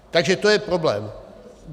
Takže to je problém.